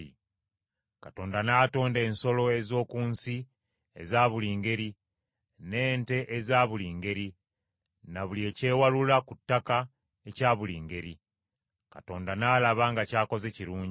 Katonda n’atonda ensolo ez’oku nsi eza buli ngeri, n’ente eza buli ngeri, na buli ekyewalula ku ttaka ekya buli ngeri. Katonda n’alaba nga ky’akoze kirungi.